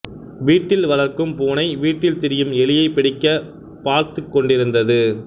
வீட்டில் வளர்க்கும் பூனை வீட்டில் திரியும் எலியைப் பிடிக்கப் பார்த்துக்கொண்டிருக்கிறது